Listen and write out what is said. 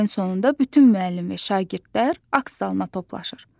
Hər ilin sonunda bütün müəllim və şagirdlər akt zalına toplaşır.